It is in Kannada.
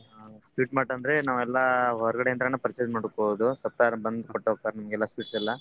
Sweet mart ಅಂದ್ರೆ ನಾವೆಲ್ಲಾ ಹೊರ್ಗಡೆ ಇಂದ್ರನೆ ನಾವ್ purchase ಮಾಡ್ಕೊಳ್ಳೋದು supplier ಬಂದ್ ಕೊಟ್ಟೋಗ್ತಾರ್ ನಮ್ಗೆಲ್ಲಾ sweets ಎಲ್ಲಾ.